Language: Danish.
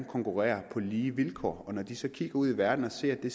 konkurrere på lige vilkår og når de så kigger ud i verden og ser at det